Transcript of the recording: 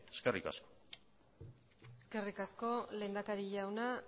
eskerrik asko eskerrik asko lehendakari jauna